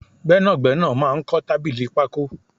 Gbẹ́nàgbẹ́nà máa ń kọ tábìlì pako